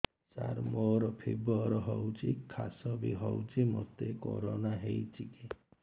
ସାର ମୋର ଫିବର ହଉଚି ଖାସ ବି ହଉଚି ମୋତେ କରୋନା ହେଇଚି କି